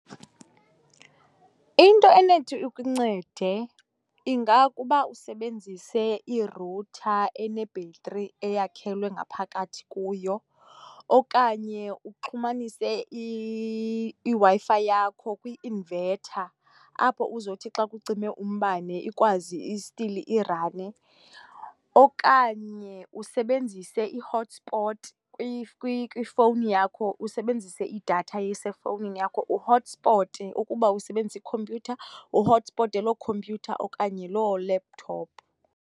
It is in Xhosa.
Into enothi ikuncede ingakuba usebenzise irutha enebhetri eyakhelwe ngaphakathi kuyo okanye uxhumanise iWi-Fi yakho kwi-invetha apho uzothi xa kucime umbane ikwazi, still irane, okanye usebenzise ihothispoti kwifowuni yakho, usebenzise idatha esefowunini yakho, uhothispote ukuba usebenzisa ikhumpyutha, uhothispote loo khompyutha yakho okanye loo laptop.